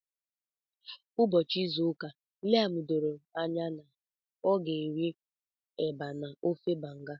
Ụbọchị izu ụka Liam doro anya na ọ ga-rie eba na ofe Banga.